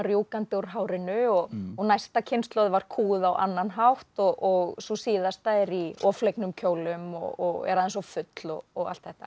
rjúkandi úr hárinu og og næsta kynslóð var kúguð á annan hátt og sú síðasta er í of flegnum kjólum og er aðeins of full og og allt þetta